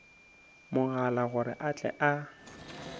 mogala gore a tle a